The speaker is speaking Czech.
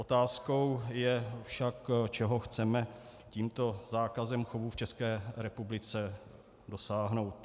Otázkou je však, čeho chceme tímto zákazem chovu v České republice dosáhnout.